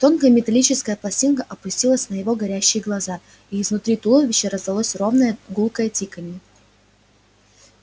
тонкая металлическая пластинка опустилась на его горящие глаза и изнутри туловища раздалось ровное гулкое тиканье